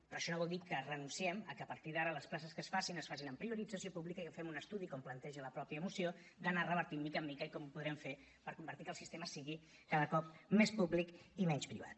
però això no vol dir que renunciem a que partir d’ara les places que es facin es facin amb priorització pública i que fem un estudi com planteja la mateixa moció d’anar ho revertint de mica en mica i com ho podrem fer per convertir que el sistema sigui cada cop més públic i menys privat